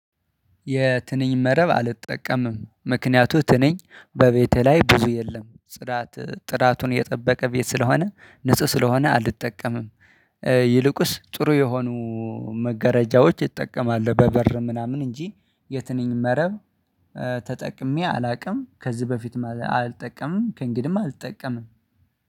የትንኝ መረብ አልጠቀምም፤ ምክንያቱም ትንኝ በቤቴ ላይ ብዙ የለም። ጥራት ጥራቱን የጠበቀ ቤት ስለሆነ ንጹህ ስለሆነ አልጠቀምም። ይልቁስ ጥሩ የሆኑ መገረጃዎች ይጠቀማለው፤ በበር ምናምን እንጂ የትንኝ መረብ ተጠቅሜ አላውቅም፤ ከዚህ በፊት አልጠቀምም፤ ከእንግዲህም አልጠቀምም።